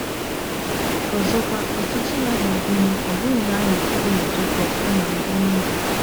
Ọzọkwa, ọchịchị ya ga-agụnye, ọ bụghị nanị ụmụ Jekọb, kama “ ndị nile. "